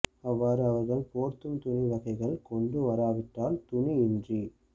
அவ்வாறு அவர்கள் போர்த்தும் துணி வகைகள் கொண்டு வராவிட்டால் துணி இன்றி